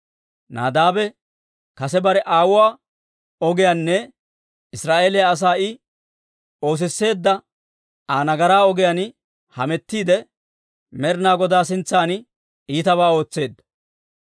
Nadaabe kase bare aawuwaa ogiyaanne Israa'eeliyaa asaa I oosisseedda Aa nagaraa ogiyaan hametiidde, Med'inaa Godaa sintsan iitabaa ootseedda.